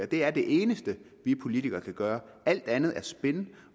det er det eneste vi politikere kan gøre alt andet er spin